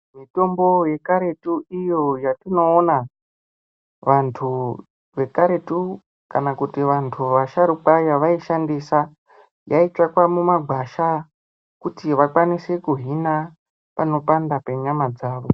Mitombo yekaretu iyo yatinoona vantu vekaretu kana kuti Vanhu asharukwa yavaishandisa yaitsvakwa mumagwasha kuti vakwanise kuhina panopanda penyama dzawo.